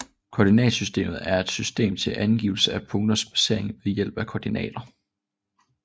Koordinatsystem er et system til angivelse af punkters placering ved hjælp af koordinater